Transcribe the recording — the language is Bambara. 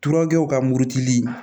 Turew ka murutili